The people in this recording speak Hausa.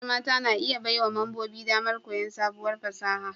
Ƙungiyar mata na iya baiwa membobin damar koyon sabuwar fasaha